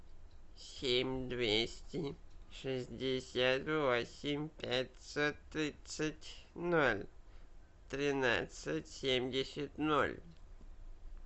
семь двести шестьдесят восемь пятьсот тридцать ноль тринадцать семьдесят ноль